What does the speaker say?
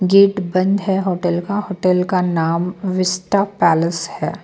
Gate बंद है hotel का हॉटेल का नाम विस्टा पैलेस है.